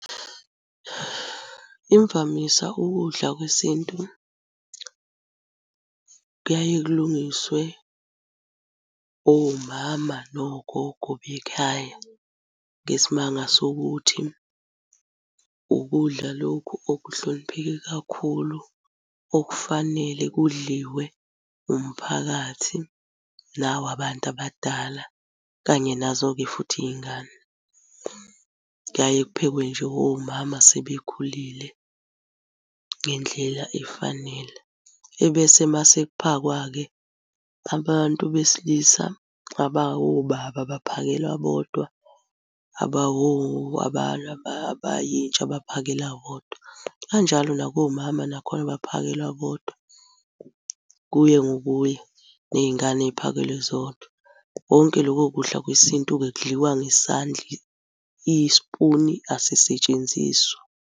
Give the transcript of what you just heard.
Imvamisa ukudla kwesintu kuyaye kulungiswe omama nogogo bekhaya ngesimanga sokuthi ukudla lokhu okuhlonipheke kakhulu okufanele kudliwe umphakathi nawabantu abadala kanye nazo-ke futhi iy'ngane. Kuyaye kuphekwe nje omama asebekhulile ngendlela efanele. Ebese uma sekuphakwa-ke, abantu besilisa abawobaba baphakelwa bodwa, abayintsha baphakelwa bodwa. Kanjalo nakomama nakhona baphakelwa bodwa, kuye ngokuya ney'ngane ziphakelwe zodwa. Konke loko kudla kwesintu-ke kudliwa ngesandla, isipuni asisetshenziswa.